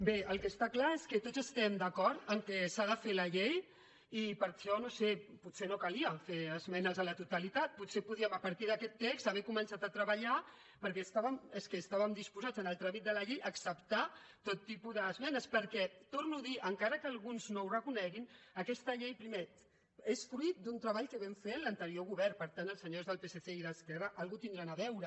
bé el que està clar és que tots estem d’acord que s’ha de fer la llei i per això no ho sé potser no calia fer esmenes a la totalitat potser podíem a partir d’aquest text haver començat a treballar perquè és que estàvem disposats en el tràmit de la llei a acceptar tot tipus d’esmenes perquè ho torno a dir encara que alguns no ho reconeguin aquesta llei primer és fruit d’un treball que vam fer amb l’anterior govern per tant els senyors del psc i d’esquerra alguna cosa hi deuen tenir a veure